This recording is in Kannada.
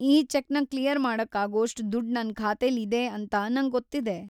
ಈ ಚೆಕ್‌ನ ಕ್ಲಿಯರ್‌ ಮಾಡಕ್ಕಾಗೋಷ್ಟ್‌ ದುಡ್ಡು ನನ್ ಖಾತೆಲಿದೆ ಅಂತ ನಂಗೊತ್ತಿದೆ.